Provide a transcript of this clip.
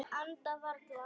Anda varla.